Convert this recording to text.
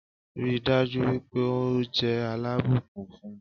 Ríi dájú wípé o jẹ́ alábùkún fún